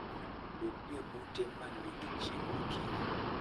Bed e ute ma nigi chiemb okinyi.